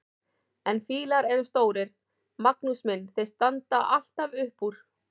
En fílar eru stórir, Magnús minn, þeir standa alltaf upp úr!